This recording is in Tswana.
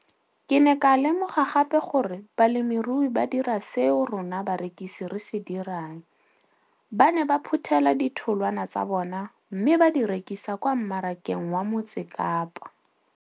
Ke ne ka lemoga gape gore balemirui ba dira seo rona barekisi re se dirang - ba ne ba phuthela ditholwana tsa bona mme ba di rekisa kwa marakeng wa Motsekapa.